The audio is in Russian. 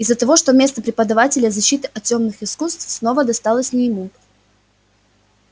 из-за того что место преподавателя защиты от тёмных искусств снова досталось не ему